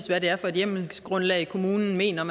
hvad det er for et hjemmelsgrundlag kommunen mener